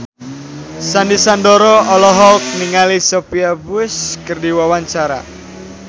Sandy Sandoro olohok ningali Sophia Bush keur diwawancara